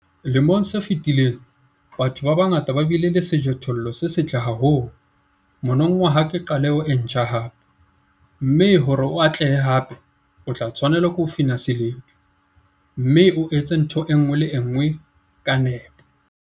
Lemong se fetileng, batho ba bangata ba bile le sejothollo se setle haholo - monongwaha ke qaleho e ntjha hape, mme hore o atlehe hape, o tla tshwanela ho fina seledu, mme o etse ntho e nngwe le e nngwe ka nepo.